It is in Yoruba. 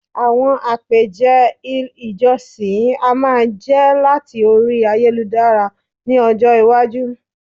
àwọn apeje il ìjósìn a máa je lati Orí ayélujára ní ọjọ iwaju